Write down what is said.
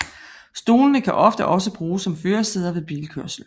Stolene kan ofte også bruges som førersæde ved bilkørsel